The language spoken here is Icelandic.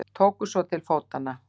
Tóku svo til fótanna.